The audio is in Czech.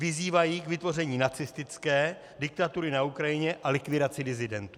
Vyzývají k vytvoření nacistické diktatury na Ukrajině a likvidaci disidentů.